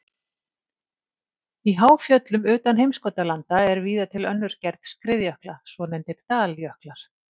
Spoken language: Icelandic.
Í háfjöllum utan heimskautalanda er víða til önnur gerð skriðjökla, svonefndir daljöklar.